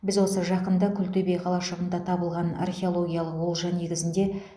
біз осы жақында күлтөбе қалашығында табылған археологиялық олжа негізінде